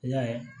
I y'a ye